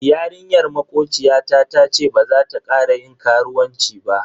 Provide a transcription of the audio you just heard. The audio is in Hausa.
Yarinyar makociyata tace baza ta kara yin karuwanci ba.